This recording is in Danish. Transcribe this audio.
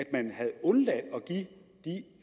man havde undladt